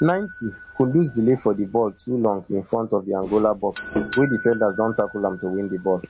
ninetykudus delay for di ball too long in front of di angola box wey defenders don tackle am to win di ball